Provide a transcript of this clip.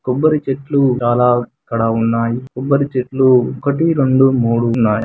కొబ్బరి చెట్లు చాలా ఇక్కడ ఉన్నాయి.కొబ్బరి చెట్లు ఒకటి రెండు మూడు ఉన్నాయి.